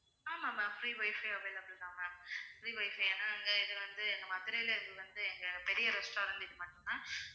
ஆமாம் ma'am free wifi available தான் ma'am free wifi ஏன்னா இங்க இது வந்து எங்க மதுரையில் இது வந்து எங்க பெரிய restaurant இது மட்டும் தான்